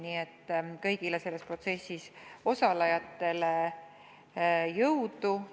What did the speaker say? Nii et soovin kõigile selles protsessis osalejatele jõudu!